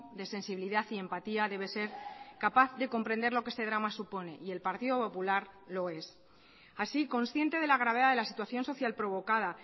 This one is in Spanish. de sensibilidad y empatía debe ser capaz de comprender lo que esté drama supone y el partido popular lo es así consciente de la gravedad de la situación social provocada